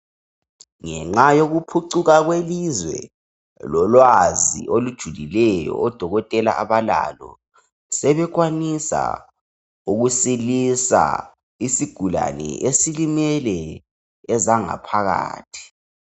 Ngenxa yokuphucuka kwelizwe lolwazi olujulileyo odokotela abalalo sebekwanisa ukusilisa isigulane esilimele kwezangaphakathi.